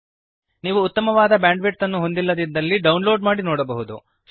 ನೀವು ಉತ್ತಮವಾದ ಬ್ಯಾಂಡ್ವಿಡ್ತ್ ಅನ್ನು ಹೊಂದಿಲ್ಲದಿದ್ದರೆ ಡೌನ್ಲೋಡ್ ಮಾಡಿ ನೋಡಬಹುದು